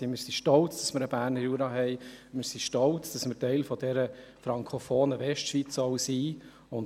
Wir sind stolz darauf, einen Berner Jura zu haben, und stolz darauf, auch ein Teil der frankophonen Westschweiz zu sein.